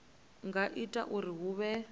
nga ita uri hu vhe